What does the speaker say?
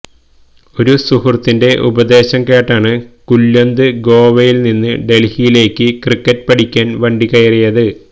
ഒരു സുഹൃത്തിന്റെ ഉപദേശം കേട്ടാണ് കുല്വന്ത് ഗോവയില് നിന്ന് ഡല്ഹിയിലേക്ക് ക്രിക്കറ്റ് പഠിക്കാന് വണ്ടി കയറിയത്